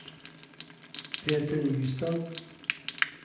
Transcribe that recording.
Peter Nystad